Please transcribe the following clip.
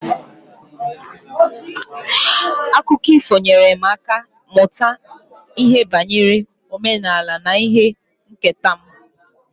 Akụkọ ifo nyeere m aka ịmụta banyere omenala na ihe nketa m.